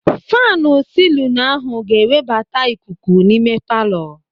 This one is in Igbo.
Faanu silinu ahụ ga-ewebata ikuku n'ime palọ.